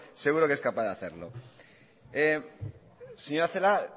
seguro que es capaz de hacerlo señora celaá